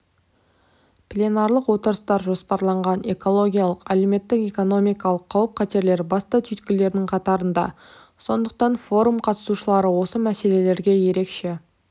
пленарлық отырыстар жоспарланған экологиялық әлеуметтік-экономикалық қауіп-қатерлер басты түйткілдердің қатарында сондықтан форум қатысушылары осы мәселелерге ерекше